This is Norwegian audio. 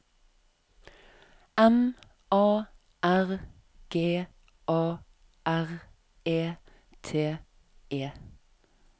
M A R G A R E T E